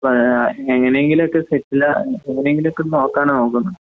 പാ എങ്ങനെയെങ്കിലൊക്കെ സെറ്റിലാ എങ്ങനെയെങ്കിലൊക്കെ നോക്കാനാനോക്കുന്നെ.